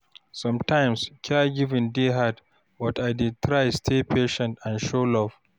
Sometimes caregiving dey hard, but I dey try stay patient and show love.